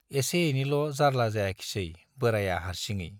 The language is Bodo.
एसे एनैल' जार्ला जायाखिसै बोराया हार्सिङै।